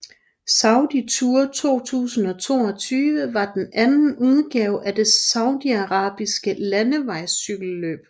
Saudi Tour 2022 var den anden udgave af det saudiarabiske landevejscykelløb